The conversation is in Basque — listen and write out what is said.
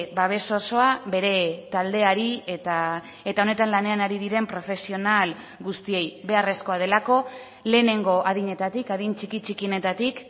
babes osoa bere taldeari eta honetan lanean ari diren profesional guztiei beharrezkoa delako lehenengo adinetatik adin txiki txikienetatik